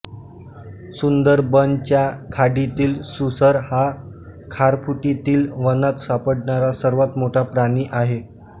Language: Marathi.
सुंदरबनच्या खाडीतील सुसर हा खारफुटीतील वनात सापडणारा सर्वात मोठा प्राणी आहे